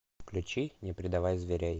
включи не предавай зверей